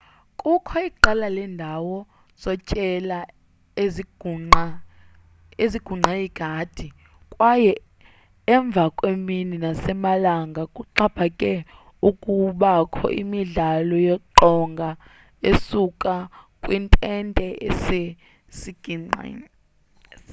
kukho iqela lendawo zotyela ezingqunge igadi kwaye emvakwemini nasemalanga kuxaphake ukubakho imidlalo yeqonga esuka kwi ntente esesiqikithini